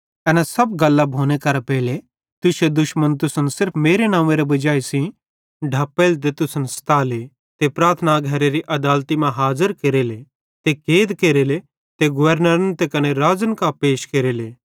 एन सब गल्लां भोने करां पेइले तुश्शे दुश्मन तुसन सिर्फ मेरे नव्वेंरे वजाई सेइं ढप्पेले ते तुसन सताले ते प्रार्थना घरेरी आदालती मां हाज़र केरेले ते कैद केरेले ते गवर्नरन ते कने राज़न कां पैश केरेले